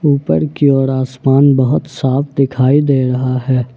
ऊपर की ओर आसमान बहुत साफ दिखाई दे रहा है।